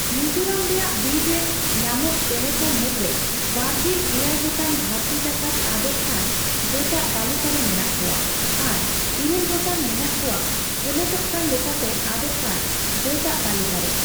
ᱢᱤᱡᱳᱨᱟᱢ ᱨᱮᱭᱟᱜ ᱵᱤᱨ ᱨᱮ ᱧᱟᱢᱚᱜ ᱪᱮᱬᱮᱠᱚ ᱢᱩᱫᱨᱮ ᱵᱟᱨᱜᱮᱞ ᱮᱭᱟᱭ ᱜᱚᱴᱟᱝ ᱫᱷᱟᱹᱨᱛᱤ ᱡᱟᱠᱟᱛ ᱟᱫᱚᱜ ᱠᱟᱱ ᱡᱟᱹᱛᱟᱜ ᱛᱟᱹᱞᱤᱠᱟᱨᱮ ᱢᱮᱱᱟᱜ ᱠᱚᱣᱟ ᱟᱨ ᱤᱨᱟᱹᱞ ᱜᱚᱴᱟᱝ ᱢᱮᱱᱟᱜ ᱠᱚᱣᱟ ᱟᱱᱟᱴᱚᱜᱠᱟᱱ ᱞᱮᱠᱟᱛᱮ ᱟᱫᱚᱜ ᱠᱟᱱ ᱡᱟᱹᱛᱟᱜ ᱛᱟᱹᱞᱤᱠᱟᱨᱮ ᱾